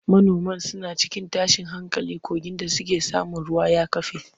Manoman suna cikin tashin hankali kogin da suke samun ruwa ya kafe.